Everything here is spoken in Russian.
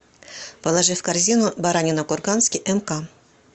положи в корзину баранина курганский мк